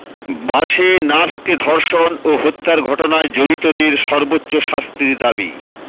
বাসে নার্সকে ধর্ষণ ও হত্যার ঘটনায় জড়িতদের সর্বোচ্চ শাস্তির দাবি